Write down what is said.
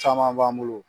Caman b'an bolo